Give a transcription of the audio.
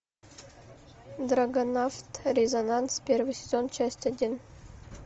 драгонавт резонанс первый сезон часть один